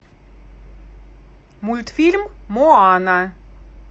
мультфильм моана